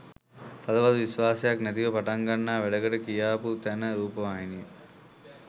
තදබල විශ්වාසයක් නැතිව පටන්ගන්නා වැඩකට කියාපු තැන රූපවාහිනිය